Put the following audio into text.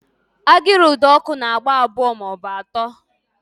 Agịrị ụdọọkụ na-agba abụọ maọbụ atọ